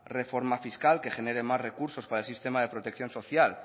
reforma fiscal que genere más recursos para el sistema de protección social